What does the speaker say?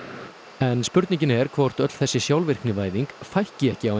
en spurningin er hvort öll þessi sjálfvirknivæðing fækki ekki